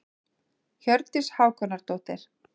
Hjördís Hákonardóttir.